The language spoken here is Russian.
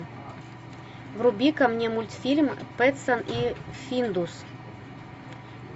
вруби ка мне мультфильм петсон и финдус